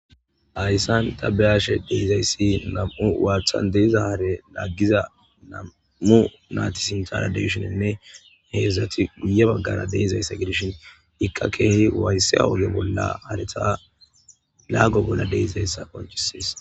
Haysan ta ba'ashe de'izays nam'u wathan diza hare lagiza nam'u nati sinthara de'shininne hezdzdati guye bagara de'izaysa gidishn Ika keeh waysiza oge bolla hareta lago bolla de'izaysa qoncises